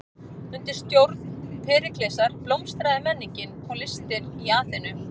Undir stjórn Períklesar blómstraði menningin og listir í Aþenu.